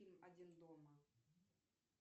фильм один дома